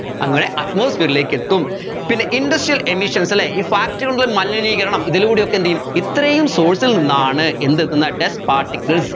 അങ്ങനെ atmosphere ലേക്ക് എത്തും പിന്നെ industrial emissions അല്ലെ ഈ factory കളുടെ മലനീകരണം ഇതിലൂടെ എന്തുചെയ്യും ഇത്രയും source ൽ നിന്നാണ് എന്തെത്തുന്നത് dust particles